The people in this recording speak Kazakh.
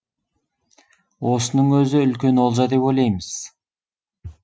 осының өзі үлкен олжа деп ойлаймыз